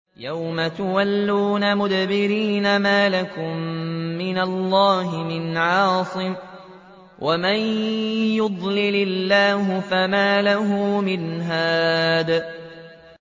يَوْمَ تُوَلُّونَ مُدْبِرِينَ مَا لَكُم مِّنَ اللَّهِ مِنْ عَاصِمٍ ۗ وَمَن يُضْلِلِ اللَّهُ فَمَا لَهُ مِنْ هَادٍ